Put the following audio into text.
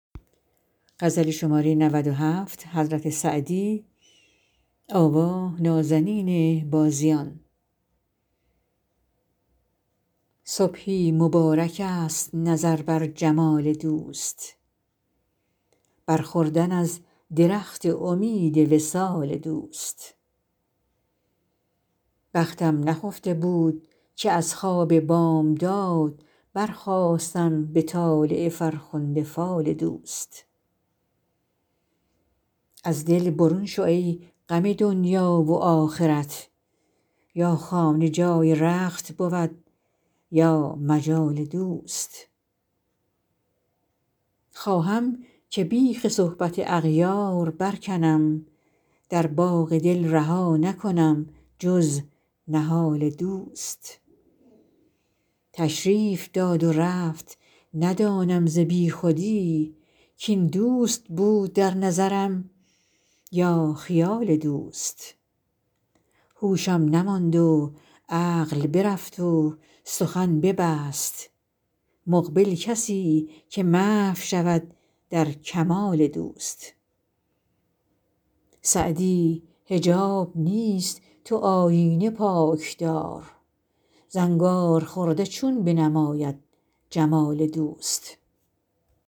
صبحی مبارکست نظر بر جمال دوست بر خوردن از درخت امید وصال دوست بختم نخفته بود که از خواب بامداد برخاستم به طالع فرخنده فال دوست از دل برون شو ای غم دنیا و آخرت یا خانه جای رخت بود یا مجال دوست خواهم که بیخ صحبت اغیار برکنم در باغ دل رها نکنم جز نهال دوست تشریف داد و رفت ندانم ز بیخودی کاین دوست بود در نظرم یا خیال دوست هوشم نماند و عقل برفت و سخن نبست مقبل کسی که محو شود در کمال دوست سعدی حجاب نیست تو آیینه پاک دار زنگارخورده چون بنماید جمال دوست